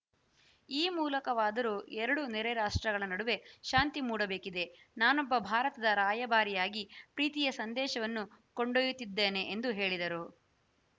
ಈ ಮೂಲಕವಾದರು ಎರಡು ನೆರೆ ರಾಷ್ಟ್ರಗಳ ನಡುವೆ ಶಾಂತಿ ಮೂಡಬೇಕಿದೆ ನಾನೊಬ್ಬ ಭಾರತದ ರಾಯಭಾರಿಯಾಗಿ ಪ್ರೀತಿಯ ಸಂದೇಶವನ್ನು ಕೊಂಡೊಯ್ಯುತ್ತಿದ್ದೇನೆ ಎಂದು ಹೇಳಿದರು